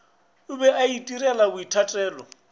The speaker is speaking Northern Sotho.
o be a itirela boithatelo